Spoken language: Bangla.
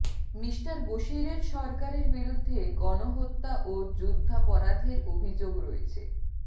মিস্টার বশিরের সরকারের বিরুদ্ধে গণহত্যা ও যুদ্ধাপরাধের অভিযোগ রয়েছে